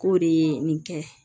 K'o de ye nin kɛ